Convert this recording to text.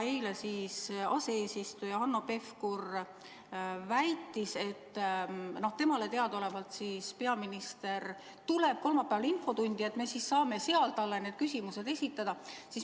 Eile aseesimees Hanno Pevkur väitis, et temale teadaolevalt peaminister tuleb kolmapäeval infotundi ja me siis saame seal talle need küsimused esitada.